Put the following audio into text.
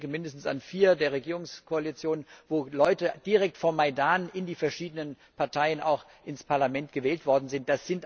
Ich denke an mindestens vier der Regierungskoalitionen, wo Leute direkt vom Majdan in die verschiedenen Parteien auch ins Parlament gewählt worden sind.